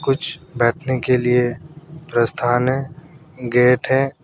कुछ बैठने के लिए प्रस्थान है। गेट है।